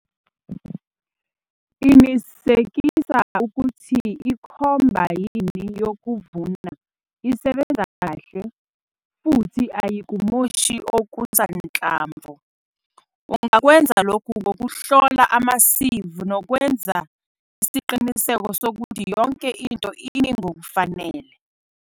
Qinisekisa ukuthi ikhombayini yokuvuna isebenza kahle futhi ayikumoshi okusanhlamvu. Ungakwenza lokhu ngokuhlola ama-seive nokwenza isiqiniseko sokuthi yonke into imi ngokufanele.